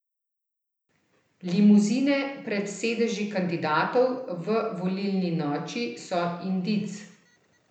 Limuzine pred sedeži kandidatov v volilni noči so indic.